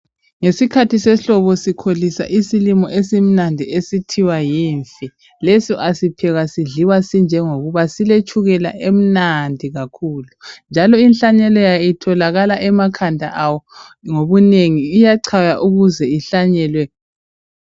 Ngesikhathi sehlobo sikholisa isilimo esimnandi esithiwa yimfe, leso asiphekwa sidliwa sinjengokuba, siletshukela emnandi kakhulu njalo inhlanyelo yayo itholakala emakhanda ayo ngobunengi, iyachaywa I uze ihlanyelwe.